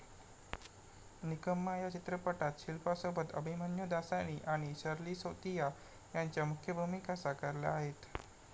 निकम्मा' या चित्रपटात शिल्पासोबत अभिमन्यु दासानी आणि शर्ली सेतिया यांच्या मुख्य भूमिका साकारल्या आहेत.